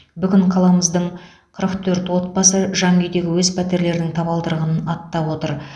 бүгін қаламыздың қырық төрт отбасы жаңа үйдегі өз пәтерлерінің табалдырығын аттап отыр